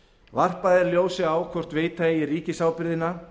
varpað er ljósi á hvort veita eigi ríkisábyrgðina